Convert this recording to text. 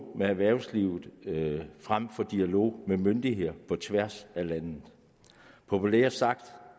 med erhvervslivet frem for dialog mellem myndigheder på tværs af landene populært sagt